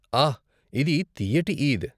ఆహ్! ఇది తియ్యటి ఈద్.